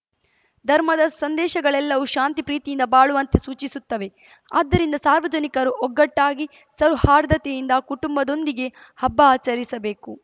ಧರ್ಮದ ಸಂದೇಶಗಳೆಲ್ಲವೂ ಶಾಂತಿ ಪ್ರೀತಿಯಿಂದ ಬಾಳುವಂತೆ ಸೂಚಿಸುತ್ತವೆ ಆದ್ದರಿಂದ ಸಾರ್ವಜನಿಕರು ಒಗ್ಗಟ್ಟಾಗಿ ಸೌಹಾರ್ದತೆಯಿಂದ ಕುಟುಂಬದೊಂದಿಗೆ ಹಬ್ಬ ಆಚರಿಸಬೇಕು